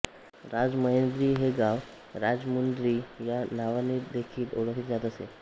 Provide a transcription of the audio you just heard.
राजमहेंद्री हे गाव राजमुंद्री या नावानेदेखील ओळखले जात असे